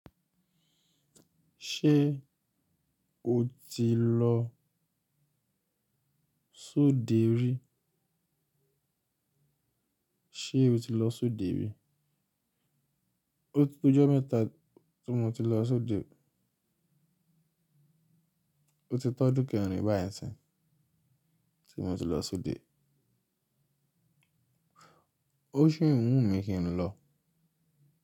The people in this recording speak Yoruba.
Ṣé o ti lọ sóde rí? Sé o ti lọ sóde rí? O ti to ọjọ́ mẹ́ta tí mo ti lọ sóde. O ti tó odun kerin báyi nsin, tí mo ti lọ sóde. Ó sì ń wùn mí kí n lọ.